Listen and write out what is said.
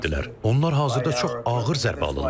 Onlar hazırda çox ağır zərbə alırlar.